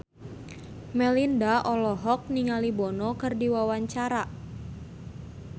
Melinda olohok ningali Bono keur diwawancara